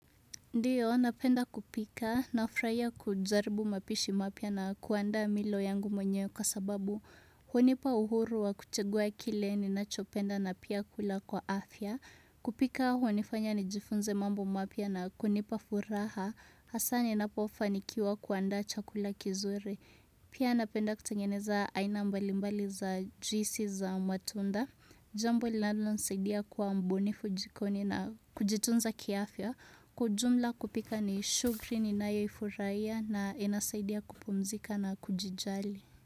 Ndiyo, napenda kupika, nafraiya kujaribu mapishi mapya na kuandaa milo yangu mwenyewe kwa sababu hunipa uhuru wa kuchagua kile ni nachopenda na pia kula kwa afya kupika hunifanya ni jifunze mambo mapya na kunipa furaha Hasa ni napofaa nikiwa kuandaa chakula kizuri Pia napenda kutengeneza aina mbalimbali za juisi za matunda Jambo linalonisaidia kuwa mbunifu jikoni na kujitunza kia afya Kwa ujumla kupika ni shugri ni nayo ifuraya na inasaidia kupumzika na kujijali.